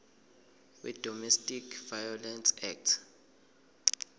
wedomestic violence act